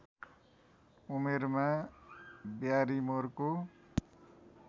उमेरमा ब्यारिमोरको